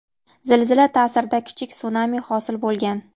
Zilzila ta’sirida kichik sunami hosil bo‘lgan.